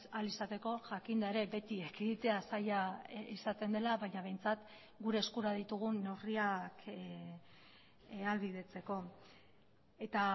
ahal izateko jakinda ere beti ekiditea zaila izaten dela baina behintzat gure eskura ditugun neurriak ahalbidetzeko eta